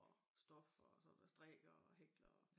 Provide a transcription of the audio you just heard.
Og stof og sådan og strikker og hækler og